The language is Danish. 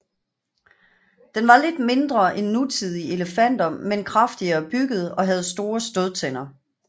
Den var lidt mindre end nutidige elefanter men kraftigere bygget og havde store stødtænder